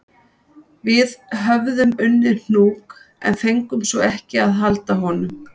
Við höfðum unnið hnúk en fengum svo ekki að halda honum